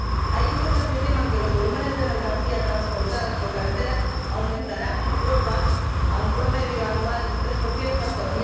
Hay informes que estiman que los volúmenes de mercancías transportadas por carretera aumentarán en Europa a un promedio anual de un 3 hasta